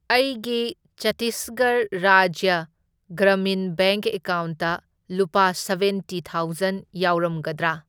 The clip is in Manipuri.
ꯑꯩꯒꯤ ꯆꯇꯤꯁꯒꯔ ꯔꯥꯖ꯭ꯌ ꯒ꯭ꯔꯃꯤꯟ ꯕꯦꯡꯛ ꯑꯦꯀꯥꯎꯟꯇ ꯂꯨꯄꯥ ꯁꯕꯦꯟꯇꯤ ꯊꯥꯎꯖꯟ ꯌꯥꯎꯔꯝꯒꯗ꯭ꯔꯥ?